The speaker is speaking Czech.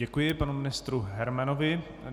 Děkuji panu ministrovi Hermanovi.